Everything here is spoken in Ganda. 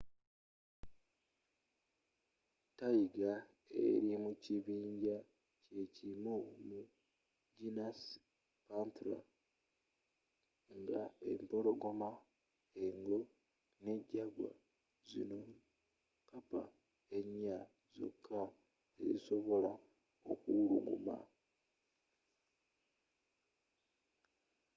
tayiga eri mukibinja kyekimu mugenus panthera nga empologoma engo ne jagwa. zino kappa enya zokka zezisobola okuwuluguma